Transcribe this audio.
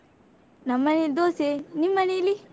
ನಮ್ಮನೆಲ್ಲಿ ದೋಸೆ, ನಿಮ್ಮನೇಲಿ?